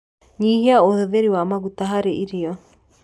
Nyihia ũhũthĩri wa maguta harĩ irio